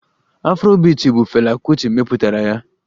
Afrobiiti bụ fela Kuti mepụtara ya